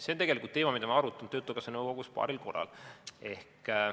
See on teema, mida me oleme arutanud töötukassa nõukogus paaril korral.